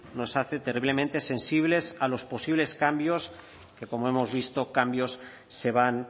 nos hace terriblemente sensibles a los posibles cambios que como hemos visto cambios se van